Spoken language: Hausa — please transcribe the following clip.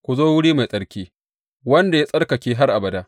Ku zo wuri mai tsarki, wanda ya tsarkake har abada.